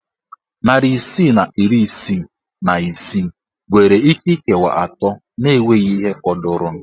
Narị isii na iri isii na isii nwere íké ikewa atọ na enweghị ihe fọdụrụnụ.